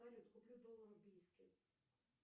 салют куплю доллары в бийске